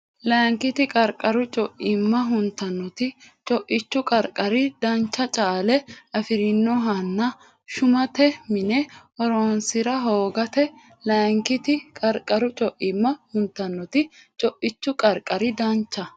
Layinkiti qarqaru co imma huntannoti Co ichu qarqari dancha caale afi rinohonna shumate mine horoonsi ra hoogate Layinkiti qarqaru co imma huntannoti Co ichu qarqari dancha.